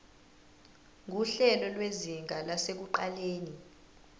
nguhlelo lwezinga lasekuqaleni